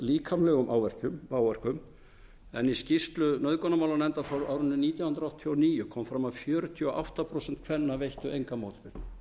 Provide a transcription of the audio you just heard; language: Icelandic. líkamlegum áverkum í skýrslu nauðgunarmálanefndar frá árinu nítján hundruð áttatíu og níu kom fram að fjörutíu og átta prósent kvenna veittu enga mótspyrnu